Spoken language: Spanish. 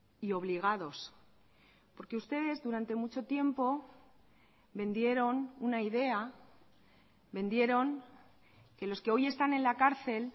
y obligados porque ustedes durante mucho tiempo vendieron una idea vendieron que los que hoy están en la cárcel